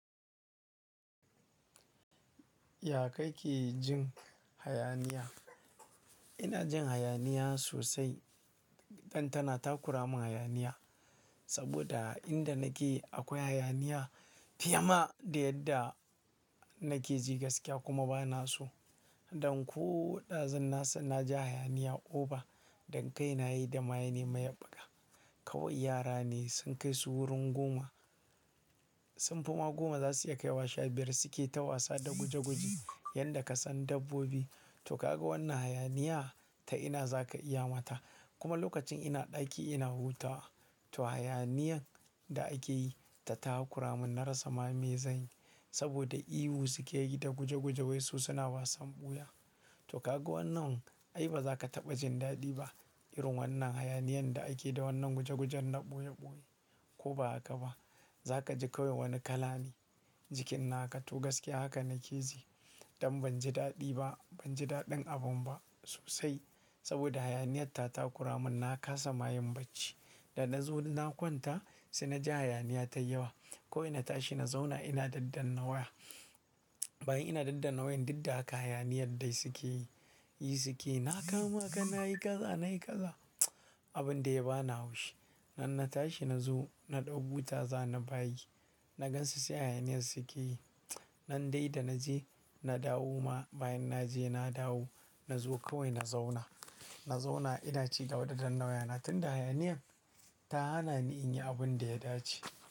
Ya kake jin hayaniya? Ina jin hayaniya sosai. Dan tana takura mun hayaniya. Saboda inda nake akwai hayaniya fiye ma da yadda nake ji gaskiya kuma ba na so. Dan ko ɗazun na san na ja hayaniya oba, dan kai na yi da maye ne mayeɓɓaka. Kawai yara ne sun kai su wurin goma, sunfi ma goma za su iya kai washa biyar suke ta wasa da guje guje yanda ka san dabbobi. To kaga wannan hayaniyah ta ina za ka iya mata. Kuma lokacin ina ɗaki ina huta, to hayaniyan da ake yi ta takura mun na rasa ma me zanyi. Saboda ihu suke yi da guje guje wai su suna wasan ɓuya. To kaga wannan, ai ba za ka taɓa jin daɗi ba irin wannan hayaniyan da ake da wannan guje gujen na ɓoye ɓoye. Ko ba haka ba, za ka ji kawai wani kalani jikin naka. To gaskiya haka nake ji. Dan ban ji daɗi ba, ban ji daɗin abun ba sosai. Saboda hayaniyat ta takura mun na kasa mayin bacci. Da na zo na kwanta sai na ja hayaniya ta yawa. Ko ina tashi na zauna ina daddana waya. Bayan ina daddana wayilan, duk da haka hayaniyar dai suke yi suke. Na kama ka nayi kaza nayi kaza, abun da ya ba na haushi. Nan na tashi na zo na ɗau buta za na bayi. Na gansu sai hayaniyar suke yi. Nan dai da naje na dawo ma, bayan naje na dawo. Na zo kawai na zauna. Na zauna ina ci gaba da danna wayana tun da hayaniyan ta hana ni in yi abun da ya dace.